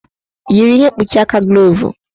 Yiri ihe mkpuchi aka glovu!